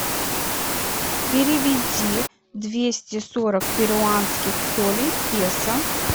переведи двести сорок перуанских солей в песо